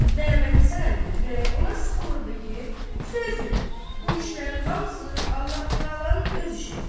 Məmməd Həsən əminin ürəyi ona sıxılmırdı ki, söz yox, bu işlərin hamısı Allah Təalanın öz işidir.